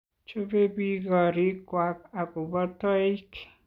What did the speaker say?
Chobei biik koriik kwak ak kobo toik .